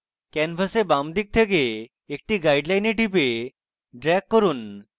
canvas বাম দিকে থেকে একটি guideline টিপুন এবং drag করুন